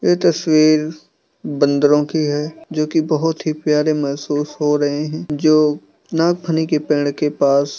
ये तस्वीर बंदरों की है जो कि बहुत ही प्यारे महसूस हो रहे हैं जो नागफनी के पेड़ के पास--